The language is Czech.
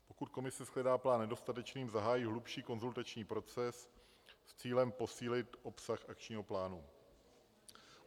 Pokud komise shledá plán nedostatečným, zahájí hlubší konzultační proces s cílem posílit obsah akčního plánu.